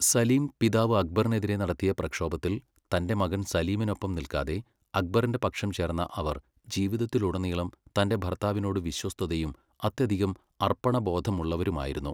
സലീം പിതാവ് അക്ബറിനെതിരെ നടത്തിയ പ്രക്ഷോഭത്തിൽ തന്റെ മകൻ സലീമിനൊപ്പം നിൽക്കാതെ അക്ബറിന്റെ പക്ഷം ചേർന്ന അവർ ജീവിതത്തിലുടനീളം തന്റെ ഭർത്താവിനോട് വിശ്വസ്തയും അത്യധികം അർപ്പണബോധമുള്ളവരുമായിരുന്നു.